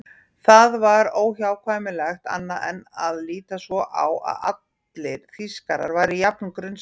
Það var óhjákvæmilegt annað en að líta svo á að allir Þýskarar væru jafn grunsamlegir.